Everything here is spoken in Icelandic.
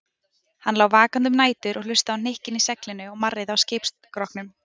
Hann lá vakandi um nætur og hlustaði á hnykkina í seglinu og marrið í skipsskrokknum.